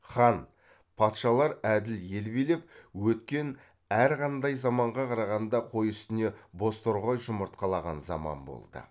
хан патшалар әділ ел билеп өткен әрқандай заманға қарағанда қой үстіне боз торғай жұмыртқалаған заман болды